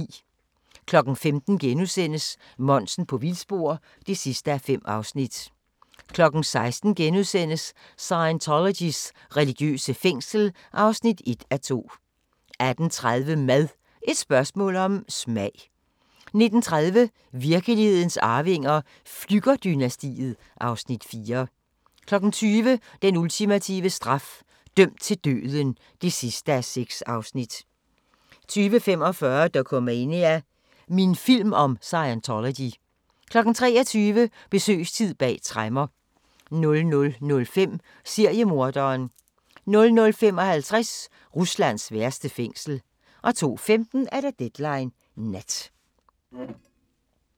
15:00: Monsen på vildspor (5:5)* 16:00: Scientologys religiøse fængsel (1:2)* 18:30: Mad – et spørgsmål om smag 19:30: Virkelighedens arvinger: Flügger-dynastiet (Afs. 4) 20:00: Den ultimative straf – dømt til døden (6:6) 20:45: Dokumania: Min film om Scientology 23:00: Besøgstid bag tremmer 00:05: Seriemorderen 00:55: Ruslands værste fængsel 02:15: Deadline Nat